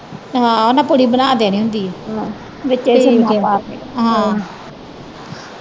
ਹਾਂ ਉਹਨਾਂ ਪੂੜੀ ਬਣਾ ਦੇਣੀ ਹੁੰਦੀ ਆ ਵਿਚੇ ਸੁਰਮਾ ਪਾ ਕੇ